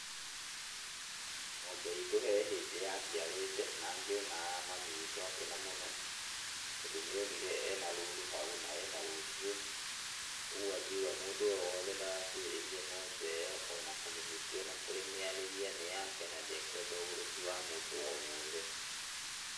Ng'ombe itũ he hĩndĩ yaciarĩte, na ngĩona mami witũ akena mũno, tondũ nĩ onire ena rũru hau na ena rũciũ. Ũguo akiuga mũndũ o wothe ndagakuhĩrĩrie ng'ombe ĩyo ona kũmĩhutia ona kũmĩarĩria nĩ yake na ndekwenda ũgũrũki wa mũndũ o wothe.